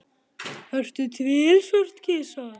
Er til svört kista?